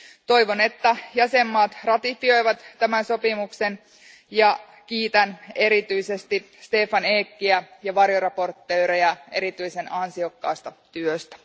Toivon, että jäsenvaltiot ratifioivat tämän sopimuksen ja kiitän erityisesti Stefan Eckiä ja varjoesittelijöitä erityisen ansiokkaasta työstä.